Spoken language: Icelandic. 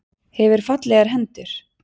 Hefur fallegar hendur.